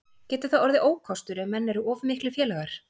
Gæti það orðið ókostur ef menn eru of miklir félagar?